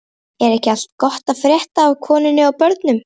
Er ekki allt gott að frétta af konunni og börnunum?